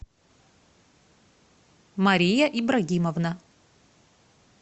мария ибрагимовна